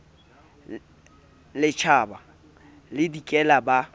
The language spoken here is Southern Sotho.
le tjhaba le dikela ba